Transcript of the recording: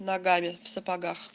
ногами в сапогах